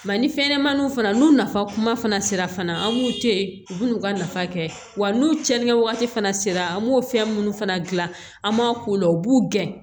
ni fɛnɲɛnɛmaniw fana n'u nafa kuma fana sera fana an b'u to yen u bɛ n'u ka nafa kɛ wa n'u tiɲɛni kɛ wagati fana sera an b'o fɛn minnu fana dilan an b'a k'o la u b'u gɛn